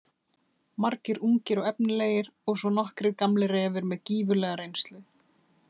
Margir ungir og efnilegir og svo nokkrir gamlir refir með gífurlega reynslu.